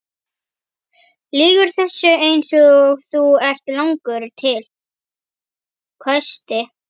Þú lýgur þessu eins og þú ert langur til, hvæsti